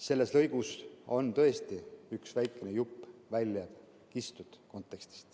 Selles lõigus on tõesti üks väikene kontekstist väljakistud jupp.